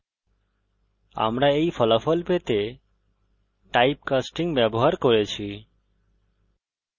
আমরা এই ফলাফল পেতে টাইপকাস্টিং ব্যবহার করেছি